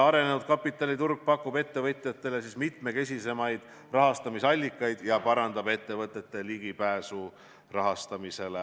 Arenenud kapitaliturg pakub ettevõtjatele mitmekesisemaid rahastamisallikaid ja parandab ettevõtete ligipääsu rahastamisele.